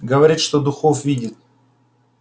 говорит что духов видит